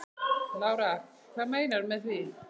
Lára: Hvað meinarðu með því?